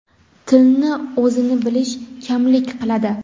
tilni o‘zini bilish kamlik qiladi.